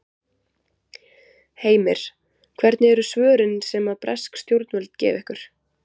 Heimir: Hvernig eru svörin sem að bresk stjórnvöld gefa ykkur?